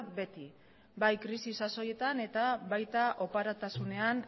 beti bai krisi sasoietan eta baita oparotasunean